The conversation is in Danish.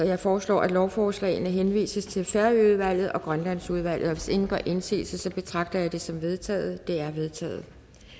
jeg foreslår at lovforslagene henvises til færøudvalget og grønlandsudvalget og hvis ingen gør indsigelse betragter jeg det som vedtaget det er vedtaget